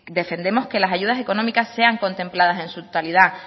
defendemos que las ayudas económicas sean contempladas en su totalidad